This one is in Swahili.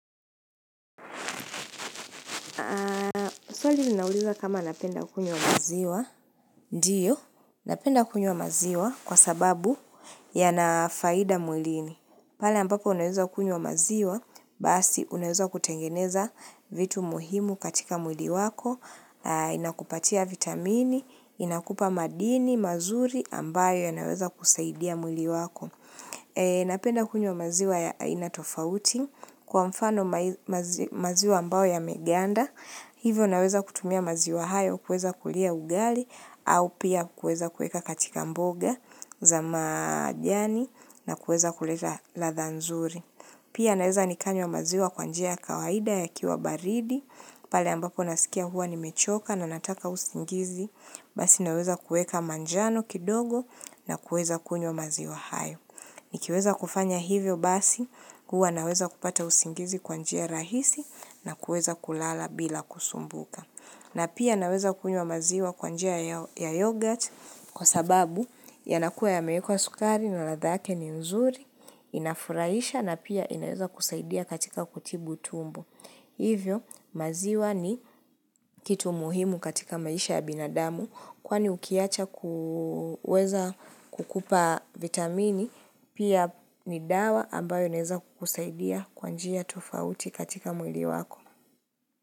Swali linauliza kama napenda kunywa maziwa Ndio, napenda kunywa maziwa kwa sababu yanafaida mwilini pale ambapo unaweza kunywa maziwa Basi unaweza kutengeneza vitu muhimu katika mwili wako Inakupatia vitamini, inakupa madini, mazuri ambayo yanaweza kusaidia mwili wako Napenda kunywa maziwa ya aina tofauti Kwa mfano maziwa ambayo yame ganda Hivyo naweza kutumia maziwa hayo kuweza kulia ugali au pia kuweza kuweka katika mboga za majani na kuweza kuleta ladha nzuri. Pia naweza nikanywa maziwa kwa njia kawaida ya kiwa baridi pale ambako nasikia huwa ni mechoka na nataka usingizi basi naweza kuweka manjano kidogo na kuweza kunywa maziwa hayo. Nikiweza kufanya hivyo basi, huwa naweza kupata usingizi kwa njia rahisi na kuweza kulala bila kusumbuka. Na pia naweza kunywa maziwa kwa njia ya yogurt kwa sababu yanakuwa yamewekwa sukari na ladha yake ni nzuri, inafurahisha na pia inaweza kusaidia katika kutibu tumbo. Hivyo maziwa ni kitu muhimu katika maisha ya binadamu kwani ukiyacha kuweza kukupa vitamini pia ni dawa ambayo naeza kukusaidia kwa njia tofauti katika mwili wako.